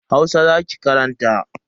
Hausa za ki karanta.